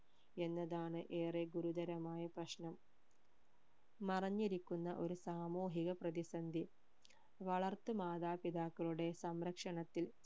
എന്നതാണ് ഏറെ ഗുരുതരമായ പ്രശ്നം മറഞ്ഞിരിക്കുന്ന ഒരു സാമൂഹിക പ്രതിസന്ധി വളർത്ത് മാതാ പിതാക്കളുടെ സംരക്ഷണത്തിൽ